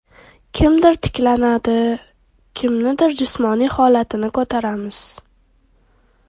Kimdir tiklanadi, kimnidir jismoniy holatini ko‘taramiz.